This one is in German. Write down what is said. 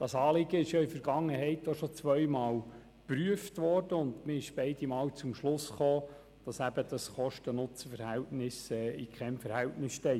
Das Anliegen ist in der Vergangenheit zudem schon zwei Mal geprüft worden und man ist beide Male zum Schluss gekommen, dass die Kosten in keinem Verhältnis zum Nutzen stehen.